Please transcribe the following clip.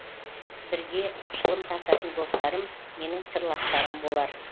бірге шылым тартатын достарым менің сырластарым болар